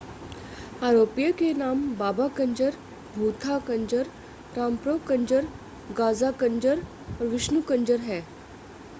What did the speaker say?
आरोपियों के नाम बाबा कंजर भूथा कंजर रामप्रो कंजर गाज़ा कंजर और विष्णु कंजर हैं